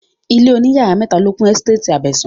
Ilé òní yàrá mẹ́ta ló kún ẹ́sítétì Abẹ̀sán